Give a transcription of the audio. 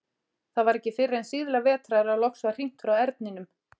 Það var ekki fyrr en síðla vetrar að loks var hringt frá Erninum.